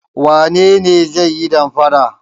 Wane ne zai yi damfara?